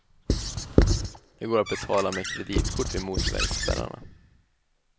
Det går att betala med kreditkort vid motorvägsspärrarna.